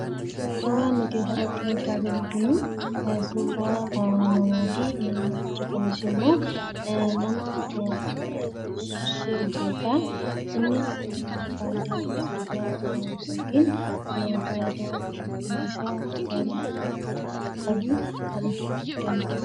Suuraan nuti asirratti argaa jirru kun suuraa namaati. Innis immoo nama sirbudha. Kunis fayidaa sirbuun qabu kan ibsuu danda'udha jechuudha.